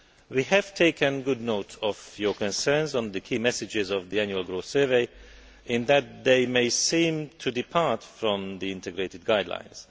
We have taken good note of your concerns on the key messages of the Annual Growth Survey, to the effect that they may seem to depart from the Integrated Guidelines.